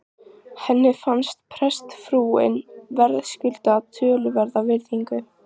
Henni fannst prestsfrúin verðskulda töluverða virðingu.